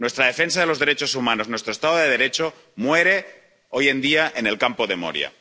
Nuestra defensa de los derechos humanos, nuestro Estado de Derecho mueren hoy en día en el campo de Moria.